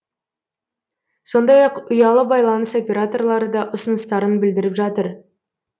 сондай ақ ұялы байланыс операторлары да ұсыныстарын білдіріп жатыр